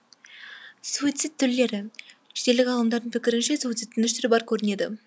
суицид түрлері шетелдік ғалымдардың пікірінше суицидтің үш түрі бар көрінеді